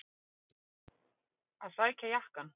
Að sækja jakkann!